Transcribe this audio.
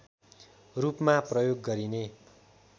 रूपमा प्रयोग गरिने